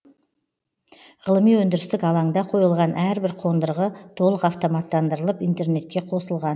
ғылыми өндірістік алаңда қойылған әрбір қондырғы толық автоматтандырылып интернетке қосылған